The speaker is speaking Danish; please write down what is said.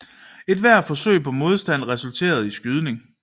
Ethvert forsøg på modstand resulterede i skydning